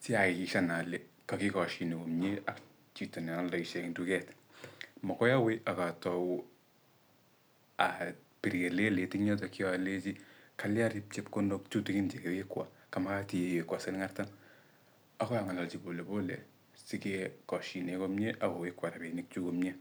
si ayakikishian ale kakigashine komiee ak chito nealdoishe eng duket. Magoi awe akatou abir kelelet eng yotokyo aleji kalya chepkondok tutigin chekewekwo kamagat iwekwo siling artam. Akoi ang'alalji polepole sikekoshine komie akowekwo robinik chuk komie.